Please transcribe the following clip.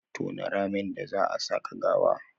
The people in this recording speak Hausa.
Tona ramin da zaa a saka gawa